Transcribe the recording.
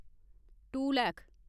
to lakh